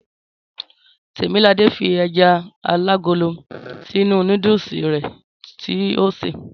Tèmiladé fi ẹja alágolo sínú núdùsì rẹ̀ tí o sè.